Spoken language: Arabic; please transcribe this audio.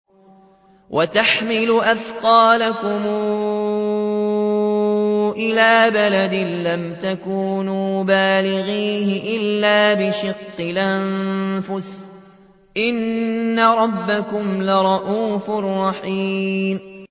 وَتَحْمِلُ أَثْقَالَكُمْ إِلَىٰ بَلَدٍ لَّمْ تَكُونُوا بَالِغِيهِ إِلَّا بِشِقِّ الْأَنفُسِ ۚ إِنَّ رَبَّكُمْ لَرَءُوفٌ رَّحِيمٌ